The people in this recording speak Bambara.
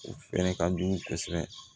U fɛnɛ ka jugu kosɛbɛ